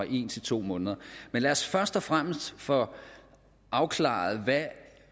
en til to måneder men lad os først og fremmest få afklaret